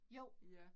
Jo